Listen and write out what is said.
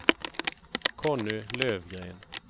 Conny Lövgren